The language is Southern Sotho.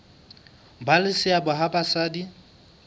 ba le seabo ha basadi